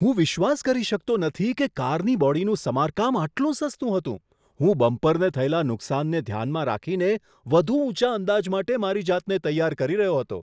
હું વિશ્વાસ કરી શકતો નથી કે કારની બોડીનું સમારકામ આટલું સસ્તું હતું! હું બમ્પરને થયેલા નુકસાનને ધ્યાનમાં રાખીને વધુ ઊંચા અંદાજ માટે મારી જાતને તૈયાર કરી રહ્યો હતો.